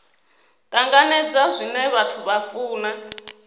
tanganedza zwine vhathu vha funa